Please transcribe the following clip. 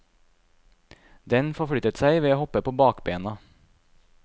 Den forflyttet seg ved å hoppe på bakbena.